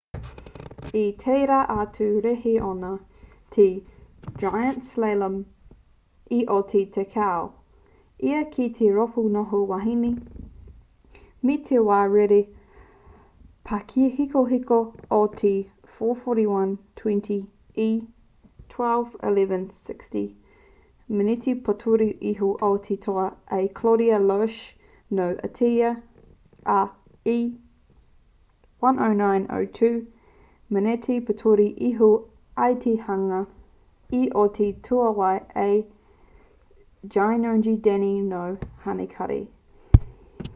i tērā atu rēhi ōna te giant slalom i oti tekau ia ki te rōpū noho wāhine me te wā rere pāhekoheko o te 4:41.20 e 2:11.60 meneti pōturi iho i te toa a claudia loesch nō ateria ā e 1:09.02 meneti pōturi iho i te hunga i oti tuaiwa a gyongyi dani nō hanekari